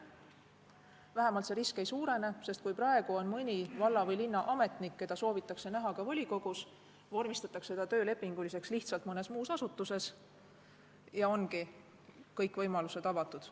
Vähemalt see risk ei suurene, sest kui praegu on mõni valla- või linnaametnik, keda soovitakse näha ka volikogus, siis vormistatakse ta töölepinguliseks töötajaks lihtsalt mõnes muus asutuses, ja ongi kõik võimalused avatud.